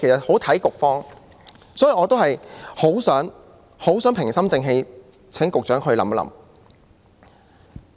所以，我很想平心靜氣地請局長考慮。